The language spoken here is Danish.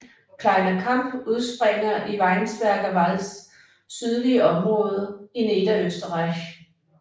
Kleiner Kamp udspringer i Weinsberger Walds sydlige område i Niederösterreich